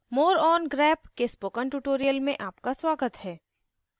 more on grep के spoken tutorial में आपका स्वागत है